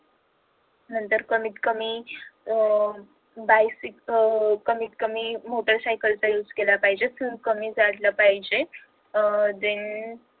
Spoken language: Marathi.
नंतर कमीत कमी अह bicycle कमीत कमी मोटर सायकल चा use केला पाहिजे खूप कमी चाललं पाहिजे अह then